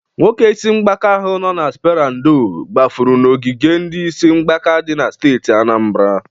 Nwoke isi mgbaka ahụ nọ na spera ndo gbafụrụ n'ogige ndị isi mgbaka dị na steeti Anambara.